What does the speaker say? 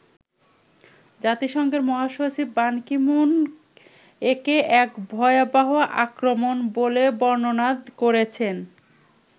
জাতিসংঘের মহাসচিব Ban Ki moon একে 'এক ভয়াবহ আক্রমণ' বলে বর্ণনা করেছেন।